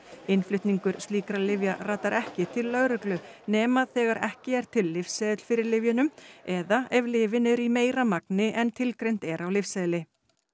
innflutningur slíkra lyfja ratar ekki til lögreglu nema þegar ekki er til lyfseðill fyrir lyfjunum eða ef lyfin eru í meira magni en tilgreint er á lyfseðli